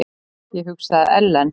Ég hugsaði: Ellen?